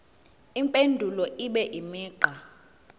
impendulo ibe imigqa